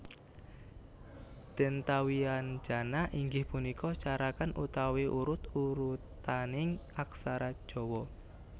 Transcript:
Dentawyanjana inggih punika carakan utawi urut urutaning aksara Jawa